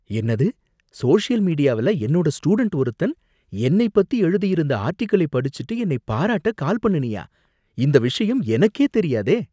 என்னது, சோசியல் மீடியாவுல என்னோட ஸ்டூடண்ட் ஒருத்தன் என்னை பத்தி எழுதியிருந்த ஆர்ட்டிகிளைப் படிச்சுட்டு என்னை பாராட்ட கால் பண்ணுனியா? இந்த விஷயம் எனக்கே தெரியாதே!